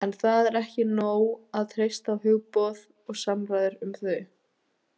En það er ekki nóg að treysta á hugboð og samræður um þau.